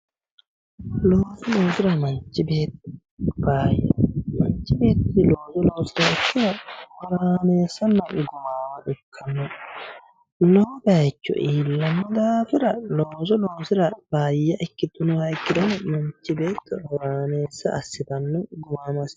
Manchi beettira looso loosiraha ikkiro horameessanna afiramo ikkano, lowo bayicho iillano daafira looso loosira faayya ikkitinoha ikkiro manchi beetto horaameessa assittano gumaamo assittano